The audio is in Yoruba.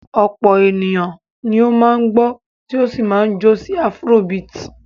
Ọ̀pọ̀ ènìyàn ni ó máa ń gbọ́ tó sì máa ń jó sí afrobeat.